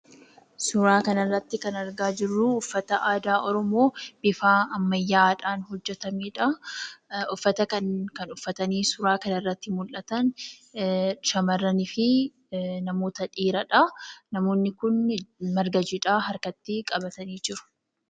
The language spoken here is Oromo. Suuraa kana irratti kan argaa jirru, uffata aadaa oromoo bifa ammayyaa'aadhaan hojjatamedha. Uffata kanniin kan uffatanii suuraa kanarratti mul'atan, shamarraniifi namoota dhiiradha. Namoonni kun marga jiidhaa harkatti qabatanii jiru.